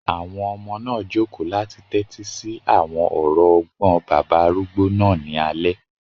Àwọn ọmọ náà jòkó láti tẹ́tí sí àwọn ọ̀rọ̀ ọgbọ́n bàbá arúgbó náà ní alẹ́